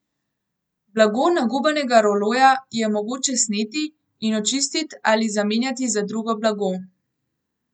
Blago nagubanega roloja je mogoče sneti in očistit ali zamenjati za drugo blago.